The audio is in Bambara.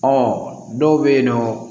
dɔw bɛ yen nɔ